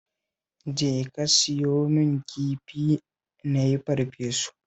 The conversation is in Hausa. Jeka ka siyo min kifi na yi farfesu